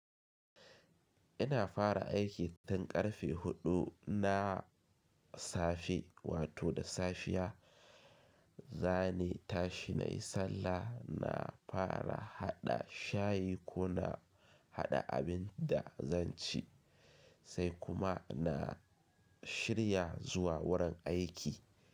Ina fara aiki tun karfe huɗu na safe wato da safiya. Zani tashi nayi sallah, na fara haɗa shayi ko na haɗa abin da zan ci, sai kuma na shirya zuwa wurin aiki.